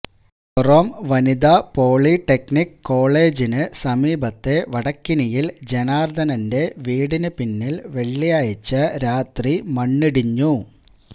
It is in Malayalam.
കോറോം വനിതാ പോളിടെക്നിക് കോളേജിന് സമീപത്തെ വടക്കിനിയിൽ ജനാർദനന്റെ വീടിന് പിന്നിൽ വെള്ളിയാഴ്ച രാത്രി മണ്ണിടിഞ്ഞു